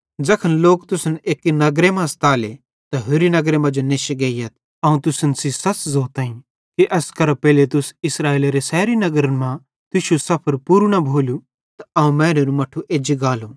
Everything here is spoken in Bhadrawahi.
ज़ैखन लोक तुसन एक्की नगर मां सताले त होरि नगर मांजो नेश्शी गेइयथ अवं तुसन सेइं सच़ ज़ोताईं कि एस करां पेइले तुस इस्राएलेरे सैरी नगरन मां तुश्शू सफर पूरू न भोलू त अवं मैनेरू मट्ठू एज्जी गालू